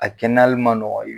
A kɛnɛyali ma nɔgɔ y